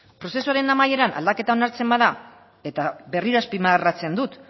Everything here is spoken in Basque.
prozesuaren amaieran aldaketa onartzen bada eta berriro azpimarratzen dut